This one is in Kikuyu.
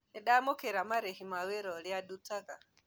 Nĩndaamũkĩra marĩhĩ ma wĩra ũrĩandutaga